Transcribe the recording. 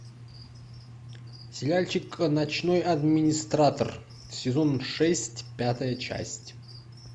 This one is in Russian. сериальчик ночной администратор сезон шесть пятая часть